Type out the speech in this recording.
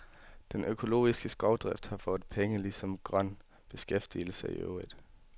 Den økologiske skovdrift har fået penge, ligesom grøn beskæftigelse i øvrigt.